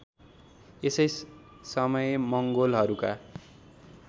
यसै समय मंगोलहरूका